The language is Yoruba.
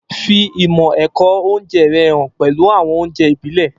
Fi ìmọ̀ ẹ̀kọ́ oúnjẹ rẹ hàn pẹ̀lú àwọn oúnjẹ ìbílẹ̀.